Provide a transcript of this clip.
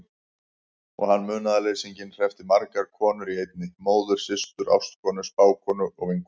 Og hann, munaðarleysinginn, hreppti margar konur í einni: móður systur ástkonu spákonu vinkonu.